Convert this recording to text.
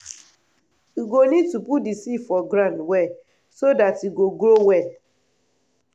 u go need to put the seed for ground well so dat e go grow well.